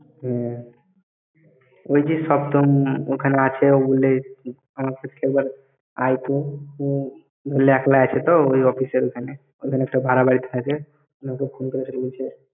হ্যাঁ। ওই যে সপ্তম ওখানে আছে আয়ত, বলল ওই একলা আছে ওই office এর ওখানে।